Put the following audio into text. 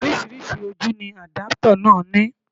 Oríṣiríṣi ojú ni àdápútà náà ní